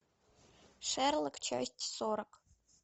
шерлок часть сорок